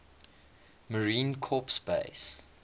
marine corps base